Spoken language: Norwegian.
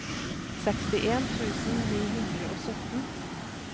sekstien tusen ni hundre og sytten